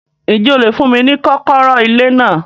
Ǹjẹ́ o lè fún mí ni kọ́kọ́rọ́ ilé náà